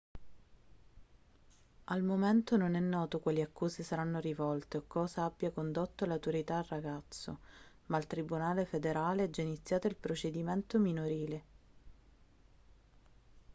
al momento non è noto quali accuse saranno rivolte o cosa abbia condotto le autorità al ragazzo ma al tribunale federale è già iniziato il procedimento minorile